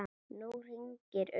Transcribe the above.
Nú hringir uppi.